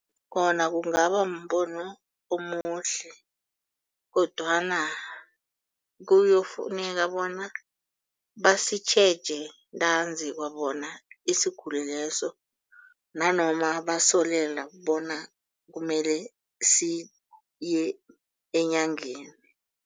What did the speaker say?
Khona kungaba mbono omuhle kodwana kuyokufuneka bona basitjheje ntanzi kwabona isiguli leso nanoma basolela bona kumele siye enyangeni.